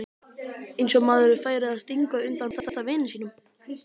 Eins og maður færi að stinga undan besta vini sínum!